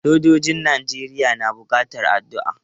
Sojojin Najeriya na buƙatan addu'a.